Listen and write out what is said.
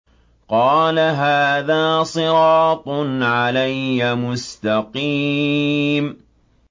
قَالَ هَٰذَا صِرَاطٌ عَلَيَّ مُسْتَقِيمٌ